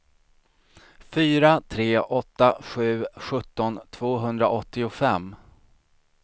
fyra tre åtta sju sjutton tvåhundraåttiofem